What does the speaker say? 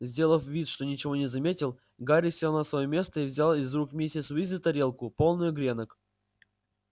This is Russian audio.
сделав вид что ничего не заметил гарри сел на своё место и взял из рук миссис уизли тарелку полную гренок